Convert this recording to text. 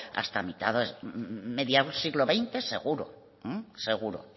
hasta mitad mediado del siglo veinte seguro seguro